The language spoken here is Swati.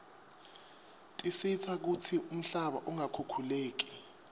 tisita kutsi umhlaba ungakhukhuleki